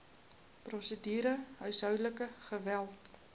prosedure huishoudelike geweld